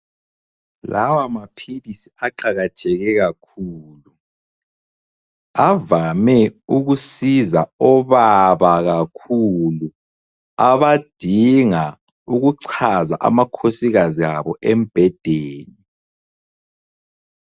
Lawa maphilisi aqakatheke kakhulu avame ukusiza obaba kakhulu abadinga ukuchaza amakhosikazi abo embhedeni.